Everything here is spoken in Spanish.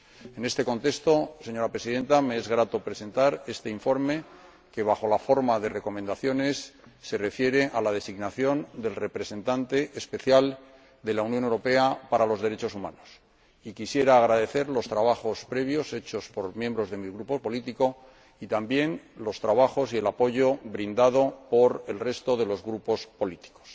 En este contexto, señora Presidenta, me es grato presentar este informe que, bajo la forma de recomendaciones, se refiere a la designación del Representante Especial de la Unión Europea para los Derechos Humanos, y quisiera agradecer los trabajos previos hechos por los miembros de mi grupo político y también la labor y el apoyo brindado por el resto de los grupos políticos.